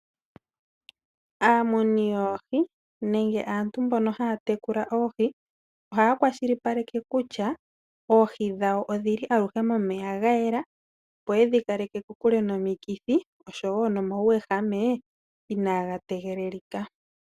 Aamuni yoohi nenge aantu mbono haatekula oohi ohaa kwa shilipaleke kutya oohi dhawo odhili aluhe momeya gayela. Opo yedhi kaleke kokule nomikithi oshowo nomawuwehame inaagategelelika.